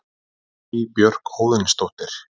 Guðný Björk Óðinsdóttir